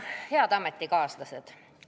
Head ametikaaslased!